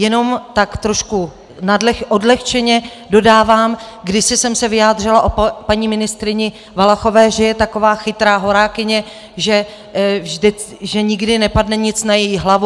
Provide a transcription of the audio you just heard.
Jenom tak trošku odlehčeně dodávám, kdysi jsem se vyjádřila o paní ministryni Valachové, že je taková chytrá horákyně, že nikdy nepadne nic na její hlavu.